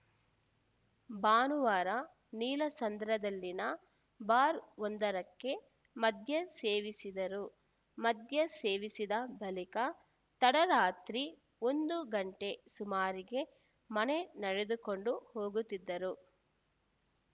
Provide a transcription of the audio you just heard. ಭಾನುವಾರ ನೀಲಸಂದ್ರದಲ್ಲಿನ ಬಾರ್‌ವೊಂದರಕ್ಕೆ ಮದ್ಯ ಸೇವಿಸಿದರು ಮದ್ಯ ಸೇವಿಸಿದ ಬಳಿಕ ತಡರಾತ್ರಿ ಒಂದು ಗಂಟೆ ಸುಮಾರಿಗೆ ಮನೆಗೆ ನಡೆದುಕೊಂಡು ಹೋಗುತ್ತಿದ್ದರು